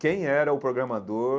Quem era o programador?